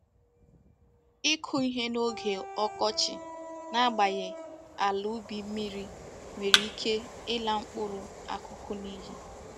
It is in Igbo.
Iku ihe n'oge okochi n'agbaghi ala ubi mmiri nwere ike ila mkpuru akuku n'iyi.